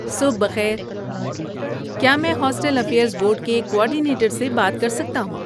صبح بخیر، کیا میں ہاسٹل افیئرز بورڈ کے کوآرڈینیٹر سے بات کر سکتا ہوں؟